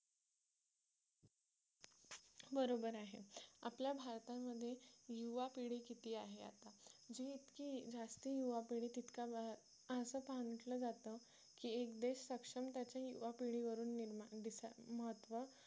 बरोबर आहे आपल्या भारतामध्ये युवा पिढी किती आहे आता जे इतके जास्ती युवा पिढी तितका असा पहा म्हटले जाते की एक देश सक्षम त्याची युवा पिढी निर्माण दिसा महत्त्व